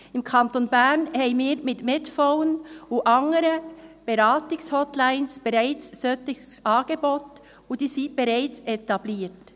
Im Kanton Bern haben wir mit Medphone und anderen Beratungshotlines bereits ein solches Angebot, und diese sind bereits etabliert.